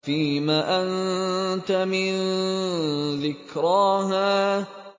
فِيمَ أَنتَ مِن ذِكْرَاهَا